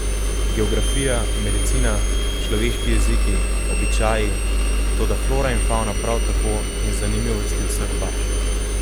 Geografija, medicina, človeški jeziki, običaji, toda flora in favna prav tako, in zanimivosti vseh baž.